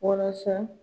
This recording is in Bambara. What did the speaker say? Walasa